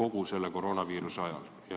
kogu koroonaviiruse aja jooksul.